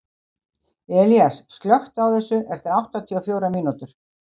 Elías, slökktu á þessu eftir áttatíu og fjórar mínútur.